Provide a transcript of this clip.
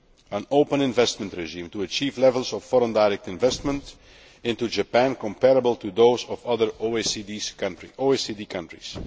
an open investment regime to achieve levels of foreign direct investment into Japan comparable to those of other OECD countries